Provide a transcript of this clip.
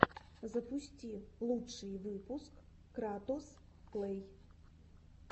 запусти лучший выпуск кратос плэй